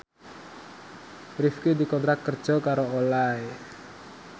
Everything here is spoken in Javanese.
Rifqi dikontrak kerja karo Olay